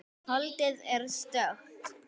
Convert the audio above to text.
Holdið er stökkt.